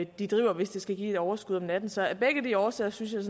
de driver hvis det skal give et overskud om natten så af begge de årsager synes jeg